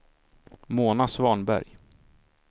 Mona Svanberg